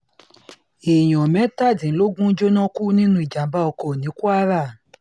èèyàn mẹ́tàdínlógún jóná kú nínú ìjàm̀bá ọkọ̀ ní kwara